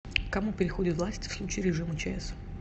к кому переходит власть в случае режима чс